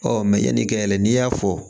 Ɔ yanni kɛyɛlɛ n'i y'a fɔ